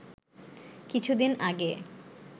কিছু দিন আগে